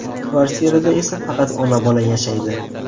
Kvartirada esa faqat ona-bola yashaydi.